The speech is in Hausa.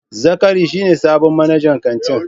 Zakari shi ne sabon manajan kantin.